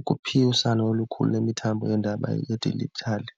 ukuphilisana olukhulu lemithambo yeendaba yedijithali.